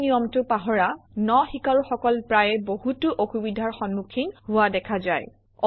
এই নিয়মটো পাহৰা ন শিকাৰুসকল প্ৰায়ে বহুতো অসুবিধাৰ সন্মুখীন হোৱা দেখা যায়